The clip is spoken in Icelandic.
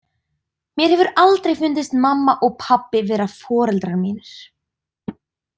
Mér hefur aldrei fundist mamma og pabbi vera foreldrar mínir.